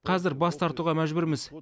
қазір бас тартуға мәжбүрміз